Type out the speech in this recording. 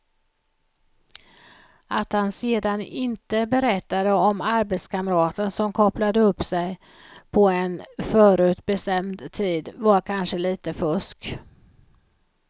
Att han sedan inte berättade om arbetskamraten som kopplade upp sig på en förutbestämd tid var kanske lite fusk.